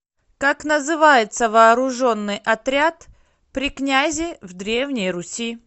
как называется вооруженный отряд при князе в древней руси